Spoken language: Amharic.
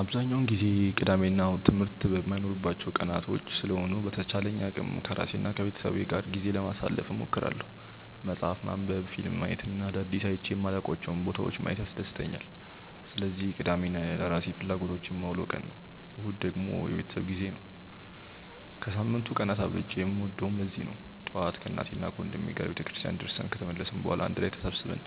አብዛኛውን ጊዜ ቅዳሜ እና እሁድ ትምህርት የማይኖርባቸው ቀናቶች ስለሆኑ በተቻለኝ አቅም ከራሴ እና ከቤተሰቤ ጋር ጊዜ ለማሳለፍ እሞክራለሁ። መፅሀፍ ማንበብ፣ ፊልም ማየት እና አዳዲስ አይቼ የማላውቃቸውን ቦታዎች ማየት ያስደስተኛል። ስለዚህ ቅዳሜን ለራሴ ፍላጎቶች የማውለው ቀን ነው። እሁድ ደግሞ የቤተሰብ ጊዜ ነው። ከሳምንቱ ቀናት አብልጬ የምወደውም ለዚህ ነው። ጠዋት ከእናቴና ወንድሜ ጋር ቤተክርስቲያን ደርሰን ከተመለስን በኋላ አንድ ላይ ተሰብስበን